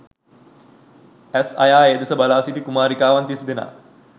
ඇස් අයා ඒ දෙස බලාසිටි කුමාරිකාවන් තිස්දෙනා